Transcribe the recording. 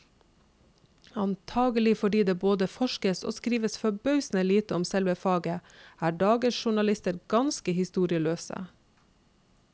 Antagelig fordi det både forskes og skrives forbausende lite om selve faget, er dagens journalister ganske historieløse.